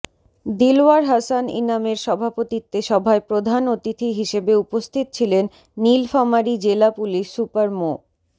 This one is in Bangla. দিলওয়ার হাসান ইনামের সভাপতিত্বে সভায় প্রধান অতিথি হিসেবে উপস্থিত ছিলেন নীলফামারী জেলা পুলিশ সুপার মো